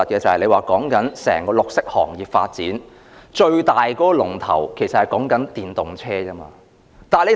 整個綠色行業的發展，最大的龍頭其實是電動車。